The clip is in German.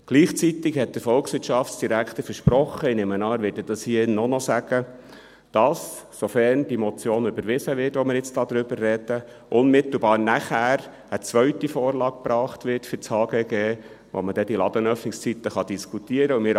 Gleichzeitig hat der Volkswirtschaftsdirektor versprochen – ich nehme an, er wird dies hier auch noch sagen – dass, sofern die Motion, über die wir jetzt sprechen, überwiesen wird, unmittelbar nachher eine zweite Vorlage für das HGG gebracht wird, wo man dann die Ladenöffnungszeiten diskutieren kann.